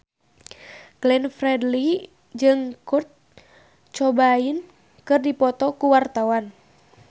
Glenn Fredly jeung Kurt Cobain keur dipoto ku wartawan